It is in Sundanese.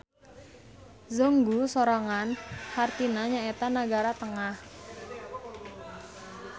Zhongguo sorangan hartina nyaeta nagara tengah.